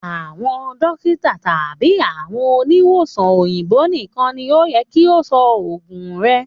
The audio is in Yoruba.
Àwọn dókítà tàbí àwọn oniwosàn òyìnbó nìkan ni o yẹ kí o sọ òògùn rẹ